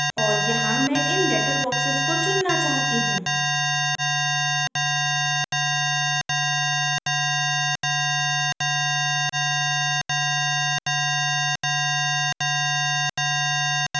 और यहाँ मैं इन letter boxes को चुनना चाहती हूँ